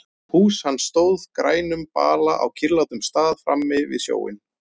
Hús hans stóð á grænum bala á kyrrlátum stað frammi við sjóinn.